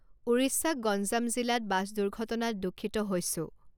ওড়িশাক গঞ্জাম জিলাত বাছ দুৰ্ঘটনাত দুঃখিত হৈছো।